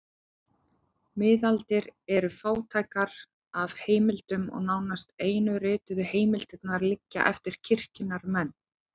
Miðaldir eru fátækar af heimildum og nánast einu rituðu heimildirnar liggja eftir kirkjunnar menn.